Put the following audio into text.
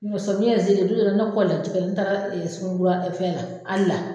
Un tɛ samiya yɛrɛ se len don dɔ la ne kɔlila jɛgɛ n taara ɛ suguni kura fɛn la al la